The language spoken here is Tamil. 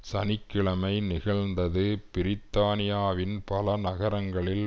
சனி கிழமை நிகழ்ந்தது பிரித்தானியாவின் பல நகரங்களில்